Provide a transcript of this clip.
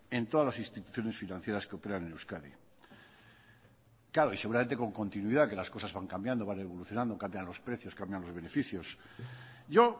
en todas las instituciones financieras que operan en euskadi claro y seguramente con continuidad que las cosas van cambiando van evolucionando cambian los precios cambian los beneficios yo